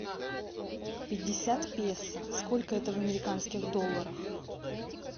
пятьдесят песо сколько это в американских долларах